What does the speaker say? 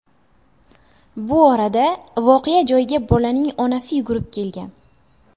Bu orada voqea joyiga bolaning onasi yugurib kelgan.